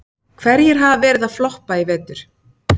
Hverjir hafa verið að floppa í vetur?